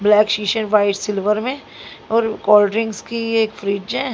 Black शीशे white silver मे और कोल्ड ड्रिंक्स की ये एक फ्रिज है।